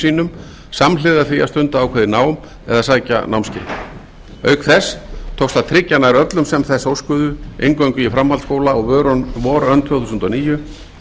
sínum samhliða því að stunda ákveðið nám eða sækja námskeið auk þess tókst að tryggja nær öllum sem þess óskuðu inngöngu í framhaldsskóla á vorönn tvö þúsund og níu